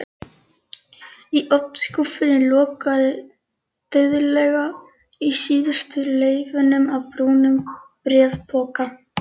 Í ofnskúffunni logaði dauflega í síðustu leifunum af brúnum bréfpoka.